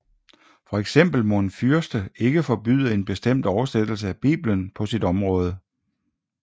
For eksempel må en fyrste ikke forbyde en bestemt oversættelse af Bibelen på sit område